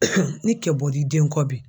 ni kɛ bɔr'i den kɔ bi